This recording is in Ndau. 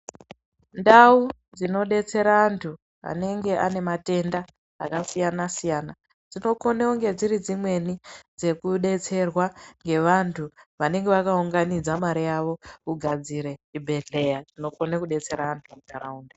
Ndau dzinobetsera antu anenge anematenda akasiyana-siyana. Dzinokone kunge dziridzimweni dzekubetserwa dzevantu vanenge vakaunganidza mari yavo. Kugadzire chibhedhleye chinokona kubetsera antu munharaunda.